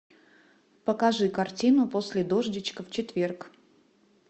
покажи картину после дождичка в четверг